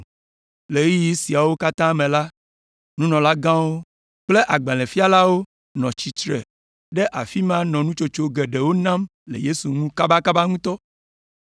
Le ɣeyiɣi siawo katã me la, nunɔlagãwo kple agbalẽfialawo nɔ tsitre ɖe afi ma nɔ nutsotso geɖewo nam le Yesu ŋu kabakaba ŋutɔ.